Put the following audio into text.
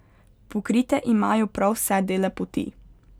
Pokrite imajo prav vse dele poti.